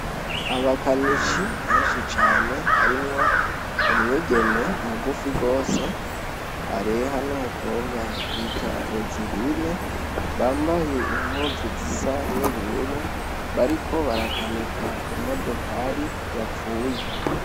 Abakanishi benshi cane harimwo umwigeme mugufi gose areha n' umukobwa bita rozirine bambaye impuzu zisa n' ubururu bariko barakanika imodokari yapfuye.